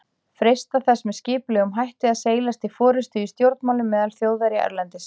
freistað þess með skipulegum hætti að seilast til forystu í stjórnmálum meðal Þjóðverja erlendis.